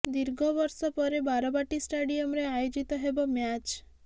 ଦୀର୍ଘ ବର୍ଷ ପରେ ବାରବାଟୀ ଷ୍ଟାଡିୟମରେ ଆୟୋଜିତ ହେବ ମ୍ୟାଚ